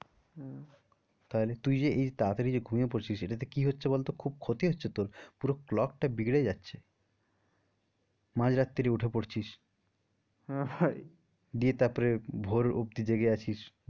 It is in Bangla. আহ তাহলে তুই এই যে তারা তারি যে ঘুমিয়ে পড়ছিস এটাতে কি হচ্ছে বলতো খুব ক্ষতি হচ্ছে তোর পুরো clock টা বিগড়ে যাচ্ছে মাঝ রাত্রিরে উঠে পড়ছিস দিয়ে তারপরে ভোর অবধি জেগে আছিস।